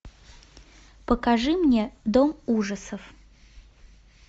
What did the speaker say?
покажи мне дом ужасов